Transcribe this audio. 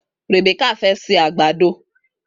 Rèbékà fẹ́ ṣe àgbàdo.